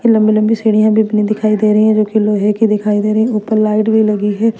ये लम्बी लम्बी सीढिया देखने दिखाई दे रही है जो की लोहे की दिखाई दे रही है ऊपर लाइटे लगी है।